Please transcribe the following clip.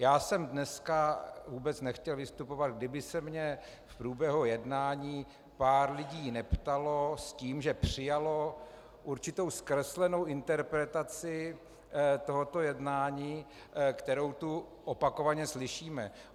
Já jsem dneska vůbec nechtěl vystupovat, kdyby se mě v průběhu jednání pár lidí neptalo s tím, že přijalo určitou zkreslenou interpretaci tohoto jednání, kterou tu opakovaně slyšíme.